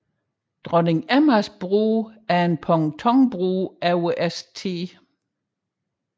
Dronning Emmas Bro er en pontonbro over St